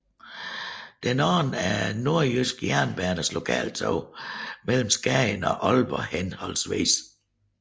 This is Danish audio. Den anden er Nordjyske Jernbaners lokaltog mellem Skagen og Aalborg hhv